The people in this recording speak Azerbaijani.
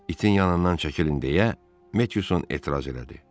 Itin yanından çəkilin deyə Metiyuson etiraz elədi.